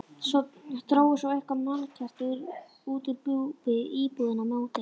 Drógu svo eitthvert mannkerti út úr íbúðinni á móti.